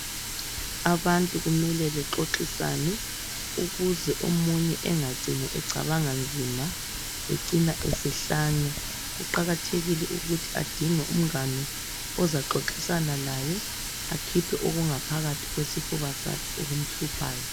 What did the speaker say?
Abantu kumele bexoxisane ukuze omunye engacini ecabanga nzima ecina esehlanya. Kuqakathekile ukuthi adinge umngani ozaxoxisana laye akhiphe okungaphakathi kwesifuba sakhe okumhluphayo.